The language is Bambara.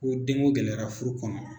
Ko den ŋo gɛlɛyara furu kɔnɔ